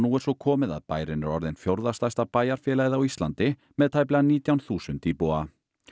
er svo komið að bærinn er orðinn fjórða stærsta bæjarfélagið á Íslandi með tæplega nítján þúsund íbúa